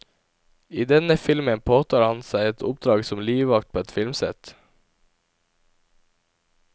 I denne filmen påtar han seg et oppdrag som livvakt på et filmsett.